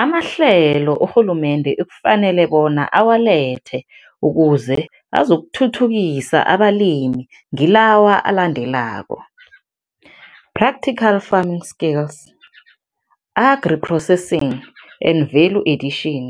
Amahlelo urhulumende ekufanele bona awalethe ukuze azokuthuthukisa abalimi ngilawa alandelako, practical farming skills, agri-processing and value addition,